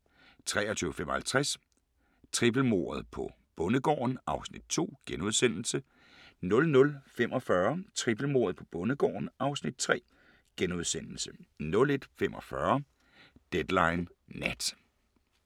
23:55: Trippelmordet på bondegården (Afs. 2)* 00:45: Trippelmordet på bondegården (Afs. 3)* 01:45: Deadline Nat